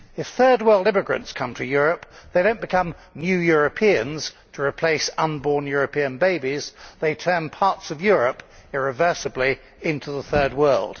If third world immigrants come to Europe they do not become new Europeans to replace unborn European babies, they turn parts of Europe irreversibly into the third world.